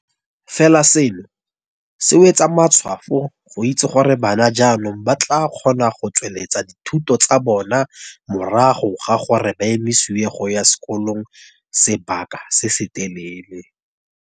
Fela seno se wetsa matshwafo go itse gore bana jaanong ba tla kgona go tsweletsa dithuto tsa bona morago ga gore ba emisiwe go ya sekolong sebaka se se telele.